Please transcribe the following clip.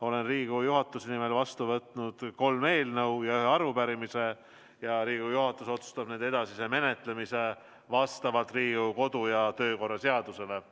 Olen Riigikogu juhatuse nimel vastu võtnud kolm eelnõu ja ühe arupärimise ning Riigikogu juhatus otsustab nende edasise menetlemise vastavalt Riigikogu kodu‑ ja töökorra seadusele.